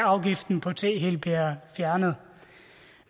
afgiften på te helt bliver fjernet